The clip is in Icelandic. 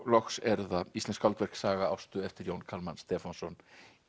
loks eru það íslensk skáldverk saga Ástu eftir Jón Kalman Stefánsson